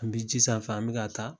An bɛ ji sanfɛ an bɛ ka taa